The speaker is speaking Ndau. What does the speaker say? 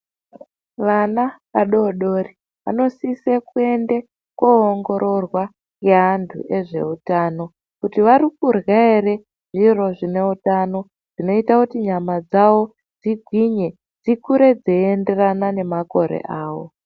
Vana vadoodori vanosise kuende koongororwa ngeantu ezveutano kuti vari kurya ere zviro zvine utano zvinoita kuti nyama dzawo dzigwinye dzikure dzeienderana nemakore awo.